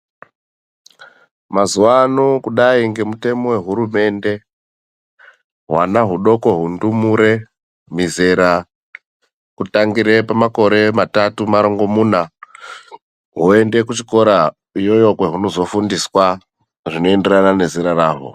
Mazuwano kudai ngemutemo wehurumende hwana hudoko hundumure muzera kutangira makore matatu marongomuna hwoenda kuchikora ikweyo huchizofundiswa zvinoenderana nezera razvo .